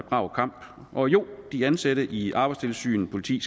brav kamp og jo de ansatte i arbejdstilsynet politiet